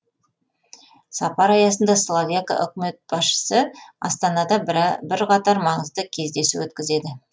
сапар аясында словакия үкімет басшысы астанада бірқатар маңызды кездесу өткізеді